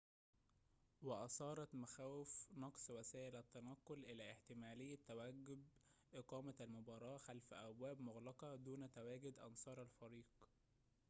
وأثارت مخاوف نقص وسائل التنقل إلى احتمالية توجب إقامة المباراة خلف أبواب مغلقة دون تواجد أنصار الفريق